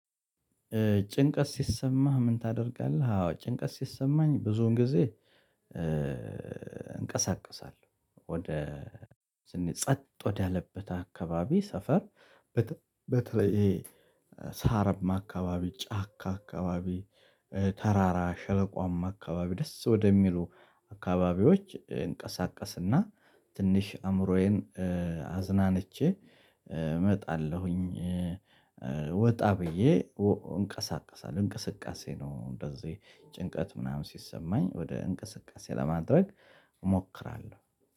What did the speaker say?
ጭንቀት ሲሰማህ ምን ታደርጋለህ? አዎ ጭንቀት ሲሰማኝ ብዙን ጊዜ እንቀሳቅሳለሁ ወደ ጸጥ ወደ አለበት አካባቢ ሰፈር። በተለይ ይሄ ሳርማ አካባቢ ጫካ አካባቢ ተራራ ሸለቋማ አካባቢ ደስ ወደሚሉ አካባቢዎች እንቀሳቀስና ትንሽ አእምሮዬን አዝናንቼ እመጣለሁኝ። ወጣ ብዬ እንቀሳቀሳለሁ እንቅስቃሴ ነው። እንደዚህ ጭንቀት ምናምን ሲሰማኝ ወደ እንቅስቃሴ ለማድረግ እሞክራለሁ።